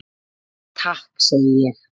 Takk segi ég.